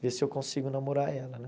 Ver se eu consigo namorar ela, né?